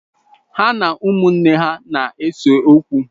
Ha na ụmụnne ha na-ese okwu.